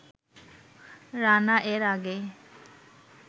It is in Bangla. রানা এর আগে